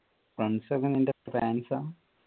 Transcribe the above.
friends ഒക്കെ നിൻ്റെ fans